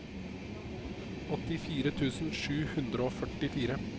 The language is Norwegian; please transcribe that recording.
åttifire tusen sju hundre og førtifire